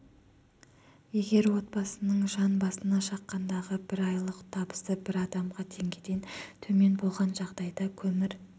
егер отбасының жан басына шаққандағы бір айлық табысы бір адамға теңгеден төмен болған жағдайда көмір